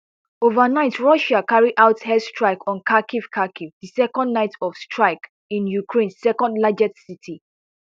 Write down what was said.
overnight russia carry out air strikes on kharkiv kharkiv di second night of strikes in ukraine second largest city